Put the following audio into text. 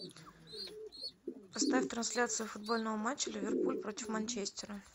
поставь трансляцию футбольного матча ливерпуль против манчестера